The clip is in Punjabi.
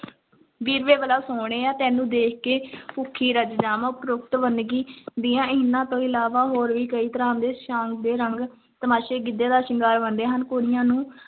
ਵੀਰ ਵੇ ਬਲਾ ਸੋਹਣਿਆਂ, ਤੈਨੂੰ ਦੇਖ ਕੇ ਭੁੱਖੀ ਰੱਜ ਜਾਵਾਂ, ਉਪਰੋਕਤ ਵੰਨਗੀ ਦੀਆਂ ਇਹਨਾਂ ਤੋਂ ਇਲਾਵਾ ਹੋਰ ਵੀ ਕਈ ਤਰ੍ਹਾਂ ਦੇ ਸਾਂਗ ਤੇ ਰੰਗ ਤਮਾਸ਼ੇ ਗਿੱਧੇ ਦਾ ਸ਼ਿੰਗਾਰ ਬਣਦੇ ਹਨ, ਕੁੜੀਆਂ ਨੂੰ